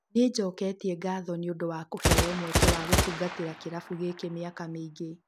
Ni njũketie ngatho nĩ ũndũ wa kũheo mweke wa gũtungatĩra kĩrafu gĩkĩ mĩaka mĩingĩ.